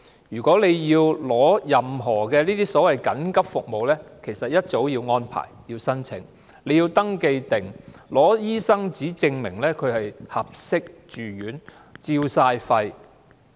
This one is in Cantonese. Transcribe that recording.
如要獲得任何所謂緊急服務，須預先申請，並提供肺部 X 光片及醫生紙證明有關被照顧者適合住院。